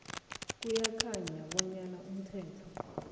kuyakhanya bonyana umthetho